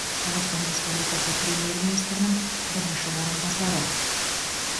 қазақстан республикасы премьер министрінің бірінші орынбасары